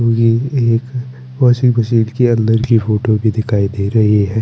यह एक washing machine की अंदर की फोटो भी दिखाई दे रही है।